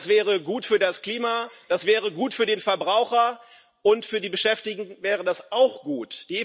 Das wäre gut für das Klima, das wäre gut für den Verbraucher, und für die Beschäftigten wäre das auch gut.